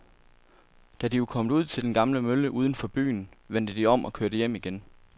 Da de var kommet ud til den gamle mølle uden for byen, vendte de om og kørte hjem igen.